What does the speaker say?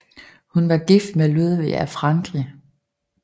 Hun var gift med Ludvig af Frankrig